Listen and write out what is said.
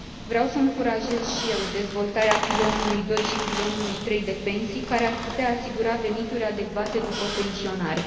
Vreau să încurajez și eu dezvoltarea pilonului doi și pilonului trei de pensii, care ar putea asigura venituri adecvate după pensionare.